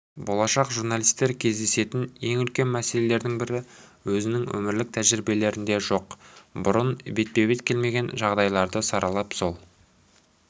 болашақ журналистер кездесетін ең үлкен мәселелердің бірі өзінің өмірлік тәжірибелерінде жоқ бұрын бетпе-бет келмеген жағдайларды саралап сол